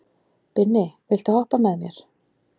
Binni, viltu hoppa með mér?